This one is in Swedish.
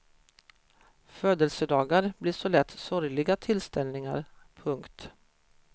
Födelsedagar blir så lätt sorgliga tillställningar. punkt